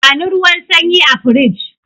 Bani ruwan sanyi a firij!